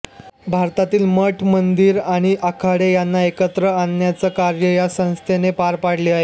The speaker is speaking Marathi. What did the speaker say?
भारतातील मठ मंदिर आणि आखाडे यांना एकत्र आणण्याचे कार्य या संस्थेने पार पाडले आहे